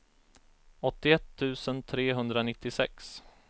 åttioett tusen trehundranittiosex